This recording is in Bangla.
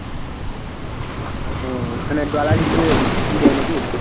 ও ওখানে dollar হিসেবে ই দেয় নাকি?